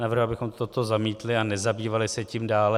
Navrhuji, abychom toto zamítli a nezabývali se tím dále.